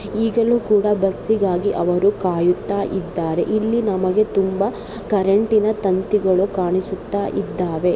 ಈಗಲು ಕೂಡಾ ಬಸ್ಗಾಗಿ ಅವರು ಕಾಯುತ್ತಾ ಇದ್ದಾರೆ ಇಲ್ಲಿ ನಮಗೆ ತುಂಬಾ ಕರೆಂಟ್ನನ ತಂತಿಗಳು ಕಾಣಿಸುತ್ತಾ ಇದ್ದಾವೆ.